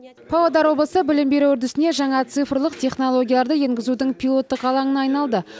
павлодар облысы білім беру үрдісіне жаңа цифрлық технологияларды енгізудің пилоттық алаңына айналды